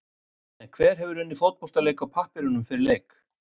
En hver hefur unnið fótboltaleik á pappírunum fyrir leik?